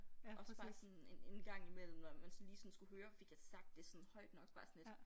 Også bare sådan en en gang imellem når man sådan lige sådan skulle høre fik jeg sagt det sådan højt nok bare sådan lidt